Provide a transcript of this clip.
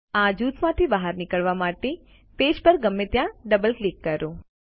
આ જૂથ માંથી બહાર નીકળવા માટે પેજ પર ગમે ત્યાં ડબલ ક્લિક કરો